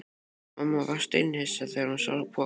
Mamma varð steinhissa þegar hún sá pokann.